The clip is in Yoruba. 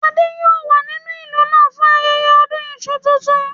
Adé yòó wà nínú ìlú náà fún ayẹyẹ ọdún iṣu tuntun